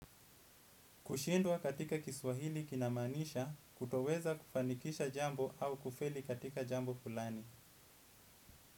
Kushindwa katika kiswahili kinamaanisha kutoweza kufanikisha jambo au kufeli katika jambo fulani.